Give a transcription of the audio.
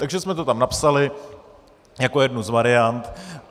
Takže jsme to tam napsali jako jednu z variant.